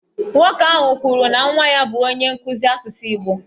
Nwoke ahụ kwuru na nwa ya bụ onye nkụzi asụsụ Igbo.